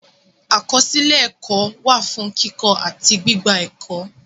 Akọsilẹ ẹkọ wa fun kikọ ati gbigba ẹkọ.